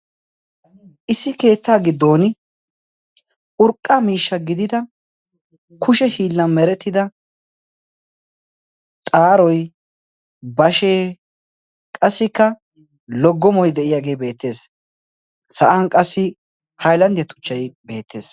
Issi keettaa giddoon urqqa miishshaa gidida kushe hiillan merettida xaaroy, bashee, qassikka loggomoy de'iyagee beettees. Sa'an qassi haylanddiya tuchchay beettees.